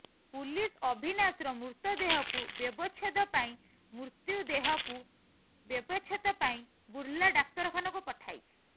police ଅଭିନାଶର ମୃତଦେହକୁ ବ୍ୟବଚ୍ଛେଦ ପାଇଁ ମୃତୁ୍ୟଦେହକୁ ବ୍ୟବଚ୍ଛେଦ ପାଇଁ ବୁର୍ଲା ଡାକ୍ତରଖାନାକୁ ପଠାଇଛି